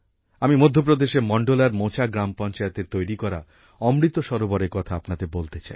আমি মধ্য প্রদেশের মন্ডলার মোচা গ্রাম পঞ্চায়েতের তৈরি করা অমৃত সরোবরের কথা আপনাদের বলতে চাই